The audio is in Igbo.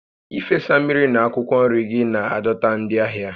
Ịfesa mmiri na akwụkwọ nri gị na-adọta ndị ahịa